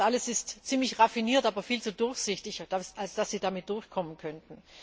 Das alles ist ziemlich raffiniert, aber viel zu durchsichtig, als dass Sie damit durchkommen könnten.